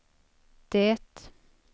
det